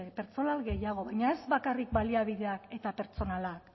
pertsona gehiago baina ez bakarrik baliabideak eta pertsonala